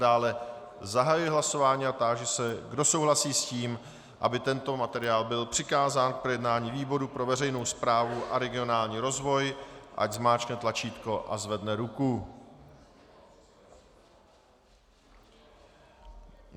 Dále zahajuji hlasování a táži se, kdo souhlasí s tím, aby tento materiál byl přikázán k projednání výboru pro veřejnou správu a regionální rozvoj, ať zmáčkne tlačítko a zvedne ruku.